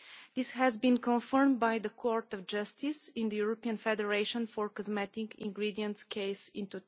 This has been confirmed by the Court of Justice in the European Federation for Cosmetic Ingredients case in